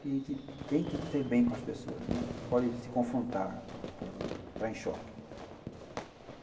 Que a gente tem que ter bem com as pessoas, né, não pode se confrontar, não pode entrar em choque.